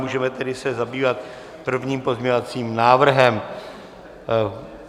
Můžeme tedy se zabývat prvním pozměňovacím návrhem.